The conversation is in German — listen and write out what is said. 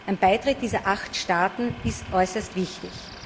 Ein Beitritt dieser acht Staaten ist äußerst wichtig.